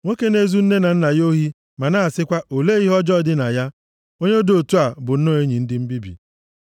Nwoke na-ezu nne na nna ya ohi ma na-asịkwa, “Olee ihe ọjọọ dị na ya?” Onye dị otu a bụ nnọọ enyi ndị mbibi.